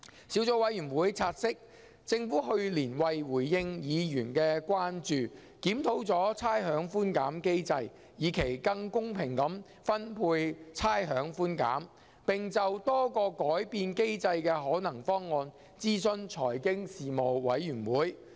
小組委員會察悉，政府去年為回應議員的關注，檢討了差餉寬減機制，以期更公平地分配差餉寬減，並就多個改變機制的可能方案諮詢財經事務委員會。